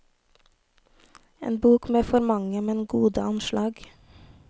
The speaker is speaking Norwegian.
En bok med for mange, men gode anslag.